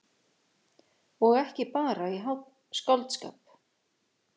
Og ekki bara í skáldskap.